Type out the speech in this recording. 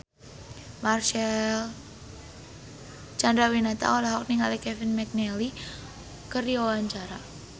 Marcel Chandrawinata olohok ningali Kevin McNally keur diwawancara